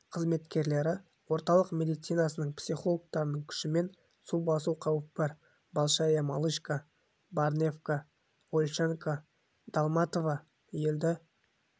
қызметкерлері орталық медицинасының психологтарының күшімен су басу қаупі бар большая малышка барневка ольшанка долматово елді